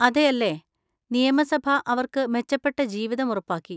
അതെയല്ലേ! നിയമസഭ അവർക്ക് മെച്ചപ്പെട്ട ജീവിതം ഉറപ്പാക്കി!